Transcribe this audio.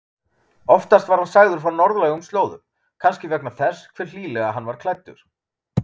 Oftast var hann sagður frá norðlægum slóðum, kannski vegna þess hve hlýlega hann var klæddur.